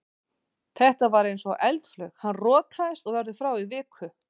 Þetta var eins og eldflaug, hann rotaðist og verður frá í viku.